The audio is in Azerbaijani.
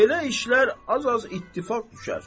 Belə işlər az-az ittifaq düşər.